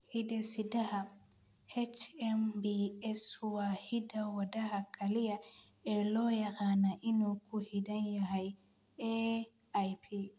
Hidde-sidaha HMBS waa hidda-wadaha kaliya ee loo yaqaan inuu ku xidhan yahay AIP.